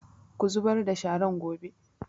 Ku zubar da sharan gobe!